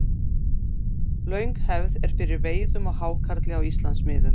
Löng hefð er fyrir veiðum á hákarli á Íslandsmiðum.